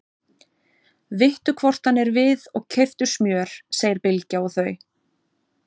Vittu hvort hann er við og keyptu smjör, segir Bylgja og þau